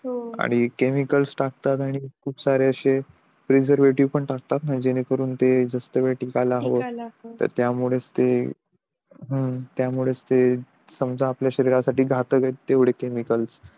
हो आणि केमिकल्स टाकतात आणि खप सारे अशे प्रिसरवेटिव्हस पण टाकलात जेणें करून ते जास्त वेळेस टिकायला हवं तर त्यामुळे च त्यामुळे तेच आपल्या शरीरासाठी घातक आहे ते केमिकल